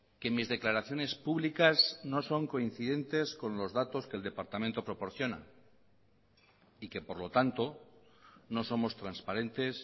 que mis declaraciones públicas no son coincidentes con los datos que el departamento proporciona y que por lo tanto no somos transparentes